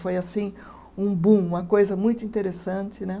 Foi assim um boom, uma coisa muito interessante né.